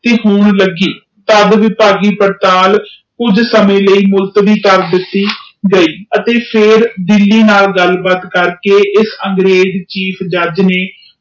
ਤੇ ਹੋਣ ਲਗੇ ਵਿਪਾਗ਼ ਕੁਜ ਸਮੇ ਲਾਇ ਪੁਲਿਸ ਨੇ ਕਰ ਦਿਤੀ ਗਯੀ ਤੇ ਫੇਰ ਦਿੱਲੀ ਨਾਲਗਾਲ ਕਰ ਕੇ ਉਸ ਅੰਗਰੇਜ ਚਿਐਫ ਜੱਜ ਨੇ